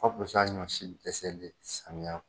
Ka fisa ɲɔsi dɛsɛlen ye samiya